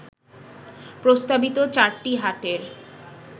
প্রস্তাবিত চারটি হাটের